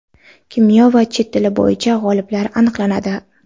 kimyo va chet tili bo‘yicha g‘oliblar aniqlanadi.